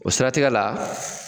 O siratigɛ la